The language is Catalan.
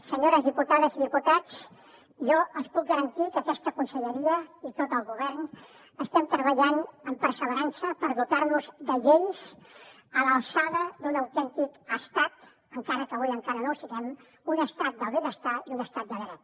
senyores diputades i diputats jo els puc garantir que aquesta conselleria i tot el govern estem treballant amb perseverança per dotar nos de lleis a l’alçada d’un autèntic estat encara que avui encara no ho siguem un estat del benestar i un estat de dret